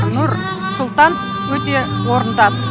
нұр сұлтан өте орынды ат